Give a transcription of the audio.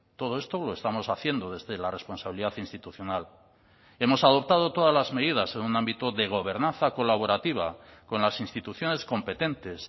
todo esto lo estamos haciendo desde la responsabilidad institucional hemos adoptado todas las medidas en un ámbito de gobernanza colaborativa con las instituciones competentes